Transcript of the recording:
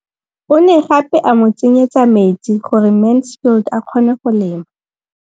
O ne gape a mo tsenyetsa metsi gore Mansfield a kgone go lema.